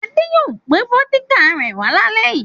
Ade yóò gbé vódíkà rẹ̀ wá lálẹ́ yìí.